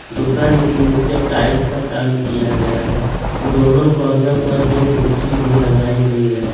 दुकान के नीचे टाइल्स का काम किया गया है दोनों कॉर्नर पर दो कुर्सी भी लगाई गई है।